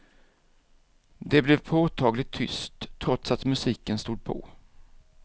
Det blev påtagligt tyst, trots att musiken stod på.